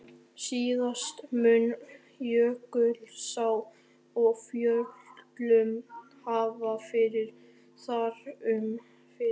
Síðast mun Jökulsá á Fjöllum hafa farið þar um fyrir